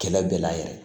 Kɛlɛ bɛɛ la yɛrɛ